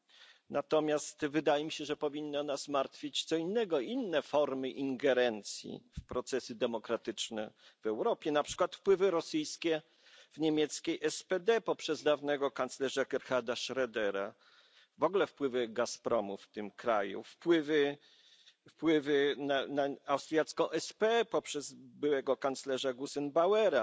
Wydaje mi się natomiast, że powinno nas martwić coś innego, inne formy ingerencji w procesy demokratyczne w Europie na przykład wpływy rosyjskie w niemieckiej SPD poprzez dawnego kanclerza Gerharda Schrödera czy wpływy Gazpromu w tym kraju, wpływy na austriacką SPÖ poprzez byłego kanclerza Gusenbauera,